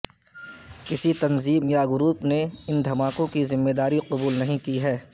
کسی تنظیم یا گروپ نے ان دھماکوں کی ذمےداری قبول نہیں کی ہے